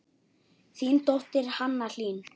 Þín dóttir, Hanna Hlín.